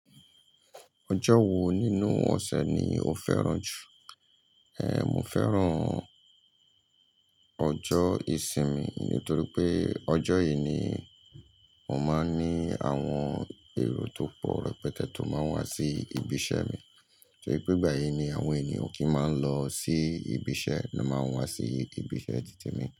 Ọjọ́ wo nínú ọ̀sẹ̀ ni o fẹ́ràn jù? Ehn, mo fẹ́ràn ọjọ́ ìsinmi nítorí pé ọjọ́ yìí ni mo máa ń ní àwọn èrò tó pọ̀ rẹpẹtẹ tó máa ń wá sí ibi iṣẹ́ mi. Torí pé ìgbà yìí ni àwọn ènìyàn kí í máa ń lọ sí ibi iṣẹ́ ni wón máa wá sí ibi iṣẹ́ Títèmi.